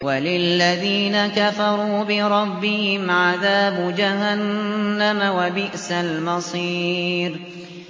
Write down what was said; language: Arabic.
وَلِلَّذِينَ كَفَرُوا بِرَبِّهِمْ عَذَابُ جَهَنَّمَ ۖ وَبِئْسَ الْمَصِيرُ